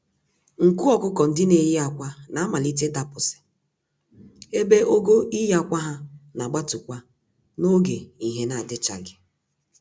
Nku ọkụkọ-ndị-neyi-ákwà na-amalite ịdapụsị, ebe ogo iyi ákwà ha nagbatu-kwa n'oge ìhè (daylight) n'adịchaghị.